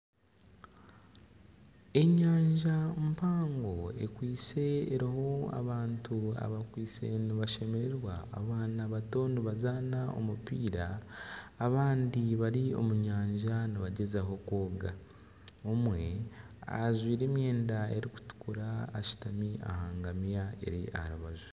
Enyanja mpango ekwitse eriho abantu nibashemererwa, abaana bato nibazaana omupiira, abandi bari omunyanja nibagyezaho kwoga omwe ajwire emyenda erikutukura ashutami aha ngamiya eri aha rubaju